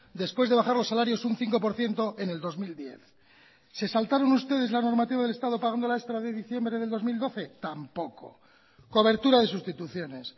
después de bajar los salarios un cinco por ciento en el dos mil diez se saltaron ustedes la normativa del estado pagando la extra de diciembre del dos mil doce tampoco cobertura de sustituciones